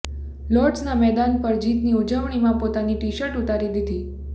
લોર્ડ્સના મેદાન પર જીતની ઉજવણીમાં પોતાની ટીશર્ટ ઉતારી દીધી